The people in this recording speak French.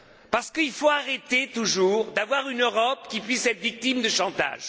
Parce qu'il faut arrêter de toujours avoir une Europe qui puisse être victime de chantage.